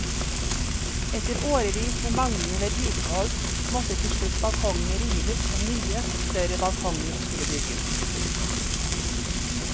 Etter årevis med manglende vedlikehold måtte til slutt balkongene rives og nye, større balkonger skulle bygges.